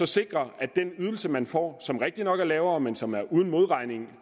sikre at den ydelse man får som rigtigt nok er lavere men som er uden modregning